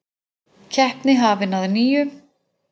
Keppni hafin að nýju